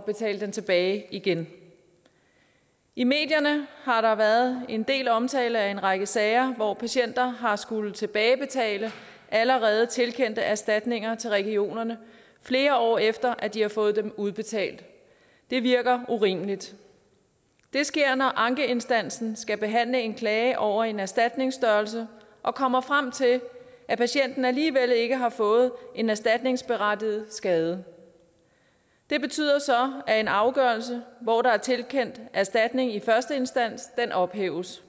betale den tilbage igen i medierne har der været en del omtale af en række sager hvor patienter har skullet tilbagebetale allerede tilkendte erstatninger til regionerne flere år efter at de har fået dem udbetalt det virker urimeligt det sker når ankeinstansen skal behandle en klage over en erstatningsstørrelse og kommer frem til at patienten alligevel ikke har fået en erstatningsberettiget skade det betyder så at en afgørelse hvor der er tilkendt erstatning i første instans ophæves